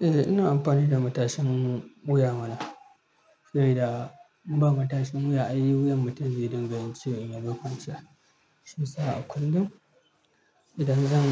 Eh, ina amfani da matashin wuya mana. Sabida idan in ba matashin wuya, ainihin wuyan mutum zai dinga yin ci irin yadda kansa. Shi isa a kullum idan zan